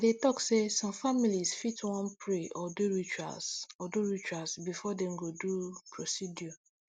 i dey talk say some families fit wan pray or do rituals or do rituals before dem go do procedure